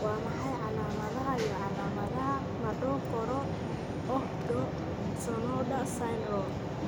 Waa maxay calaamadaha iyo calaamadaha Madokoro Ohdo Sonoda syndrome?